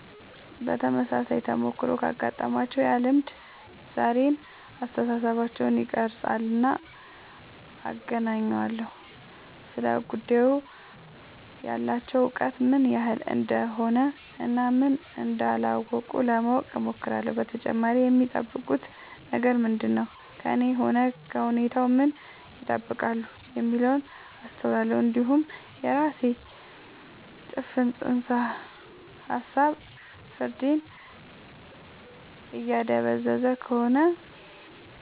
ተመሳሳይ ተሞክሮ ካጋጠማቸው ያ ልምድ ዛሬውን አስተሳሰባቸውን ይቀርፃልና አገናኘዋለሁ ስለ ጉዳዩ ያላቸው እውቀት ምን ያህል እንደሆነ እና ምን እንዳላወቁ ለማወቅ እሞክራለሁ በተጨማሪም የሚጠብቁት ነገር ምንድነው ከእኔም ሆነ ከሁኔታው ምን ይጠብቃሉ የሚለውን አስተውላለሁ እንዲሁም የራሴ ጭፍን ጽንሰ ሀሳብ ፍርዴን እያደበዘዘ ከሆነ